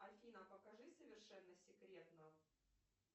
афина покажи совершенно секретно